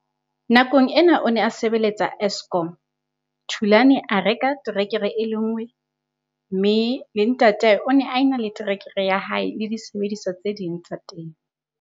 Nakong ena o ne a sebeletsa Eskom. Thulan a reka terekere e le nngwe, mme le ntatae o ne a ena le terekere ya hae le disebediswa tse ding tsa temo.